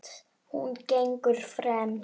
Hún gengur fremst.